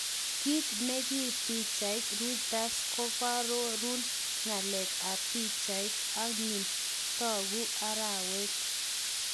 Kit nekip pichait, Reuters ,koarorun ngalek ap pichait engyun ,taku arawet.